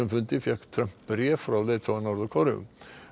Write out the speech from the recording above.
fundinum fékk Trump bréf frá leiðtoga Norður Kóreu